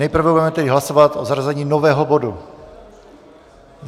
Nejprve tedy budeme hlasovat o zařazení nového bodu.